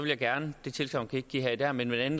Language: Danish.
jeg gerne det tilsagn kan jeg ikke give her i dag men ved en